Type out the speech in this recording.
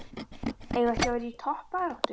Eigum við ekki að vera í toppbaráttu?